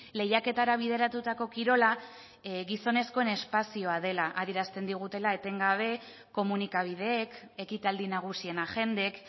lehiaketara bideratutako kirola gizonezkoen espazioa dela adierazten digutela etengabe komunikabideek ekitaldi nagusien agendek